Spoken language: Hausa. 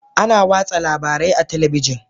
Ana watsa labarai ta talabijin